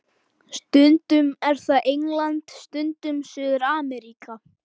Stundum er það England, stundum Suður-Ameríka.